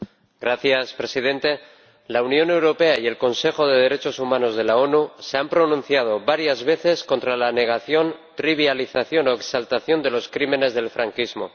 Señor Presidente, la Unión Europea y el Consejo de Derechos Humanos de las Naciones Unidas se han pronunciado varias veces contra la negación, trivialización o exaltación de los crímenes del franquismo.